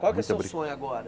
Qual que é o seu sonho agora?